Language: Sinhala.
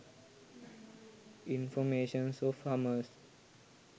informations of hummers